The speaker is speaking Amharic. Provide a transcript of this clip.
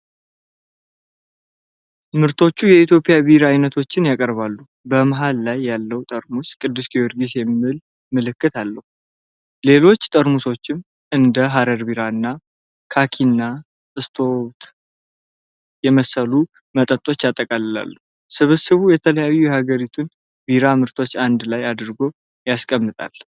ምርቶቹ የኢትዮጵያ ቢራ አይነቶችን ያቀርባሉ። በመሃል ላይ ያለው ጠርሙስ "ቅዱስ ጊዮርጊስ" የሚል ምልክት አለው። ሌሎች ጠርሙሶችም እንደ "ሃረር ቢራ" እና "ካኪና ስቶውት" የመሰሉ መጠጦችን ያጠቃልላሉ። ስብስቡ የተለያዩ የሀገሪቱን የቢራ ምርቶችን አንድ ላይ አድርጎ ያስቀምጣል።